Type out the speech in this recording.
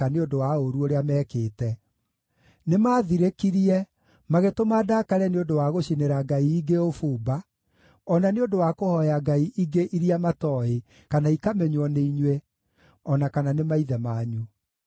nĩ ũndũ wa ũũru ũrĩa mekĩte. Nĩmathirĩkirie, magĩtũma ndakare nĩ ũndũ wa gũcinĩra ngai ingĩ ũbumba, o na nĩ ũndũ wa kũhooya ngai ingĩ iria matooĩ, kana ikamenywo nĩ inyuĩ, o na kana nĩ maithe manyu.